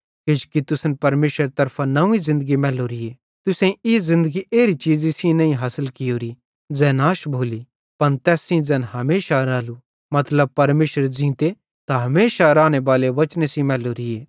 किजोकि तुसन परमेशरेरी तरफां नव्वीं ज़िन्दगी मैलोरी तुसेईं ई ज़िन्दगी एरी चीज़ी सेइं नईं हासिल कियोरी ज़ै नाश भोली पन तैस सेइं ज़ैन हमेशा रालू मतलब परमेशरेरे ज़ींते ते हमेशा रानेबाले वचने सेइं मैलोरीए